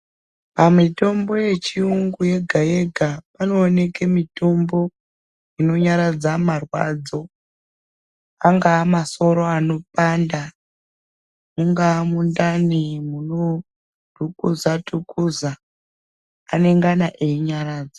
Pamitombo yechiyungu yega yega panooneke mitombo inonyaradza marwadzo. Angava masoro anopanda, mungaa mundani munodhukuza dhukuza, anengana einyaradza.